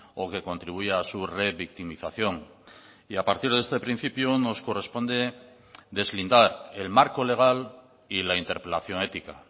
o que contribuya a su revictimización y a partir de este principio nos corresponde deslindar el marco legal y la interpelación ética